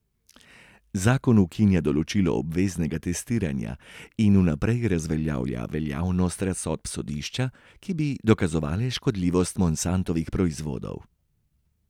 Zakon ukinja določilo obveznega testiranja in vnaprej razveljavlja veljavnost razsodb sodišč, ki bi dokazovale škodljivost Monsantovih proizvodov.